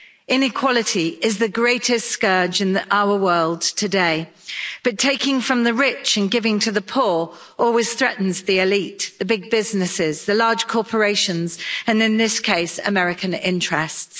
Inequality is the greatest scourge in our world today, but taking from the rich and giving to the poor always threatens the elite the big businesses, the large corporations and in this case American interests.